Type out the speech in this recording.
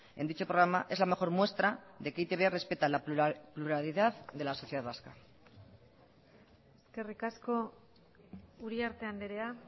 en dicho programa es la mejor muestra de que e i te be respeta la pluralidad de la sociedad vasca eskerrik asko uriarte andrea